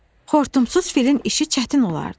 Xortumsuz filin işi çətin olardı.